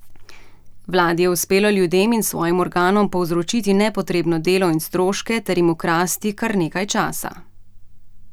Vladi je uspelo ljudem in svojim organom povzročiti nepotrebno delo in stroške ter jim ukrasti kar nekaj časa.